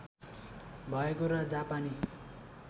भएको र जापानी